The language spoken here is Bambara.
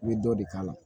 I bɛ dɔ de k'a la